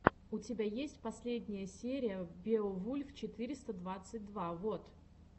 у тебя есть последняя серия беовульф четыреста двадцать два вот